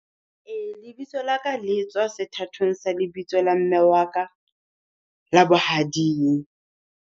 Ee lebitso la ka le tswa sethatong sa lebitso la mme wa ka la bohading.